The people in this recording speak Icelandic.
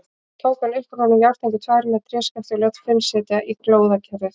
Tók hann upp úr honum járntengur tvær með tréskafti og lét Finn setja í glóðarkerið.